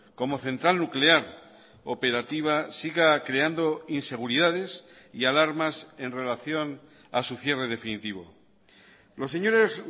como central nuclear operativa siga creando inseguridades y alarmas en relación a su cierre definitivo los señores